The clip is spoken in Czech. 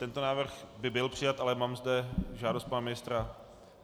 Tento návrh by byl přijat, ale mám zde žádost pana ministra...